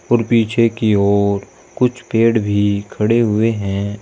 और पीछे की और कुछ पेड़ भी खड़े हुए हैं।